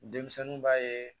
Denmisɛnninw b'a ye